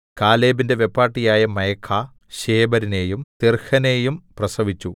കാലേബിന്റെ വെപ്പാട്ടിയായ മയഖാ ശേബെരിനെയും തിർഹനയെയും പ്രസവിച്ചു